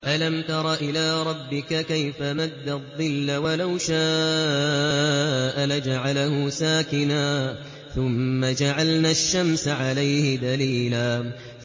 أَلَمْ تَرَ إِلَىٰ رَبِّكَ كَيْفَ مَدَّ الظِّلَّ وَلَوْ شَاءَ لَجَعَلَهُ سَاكِنًا ثُمَّ جَعَلْنَا الشَّمْسَ عَلَيْهِ دَلِيلًا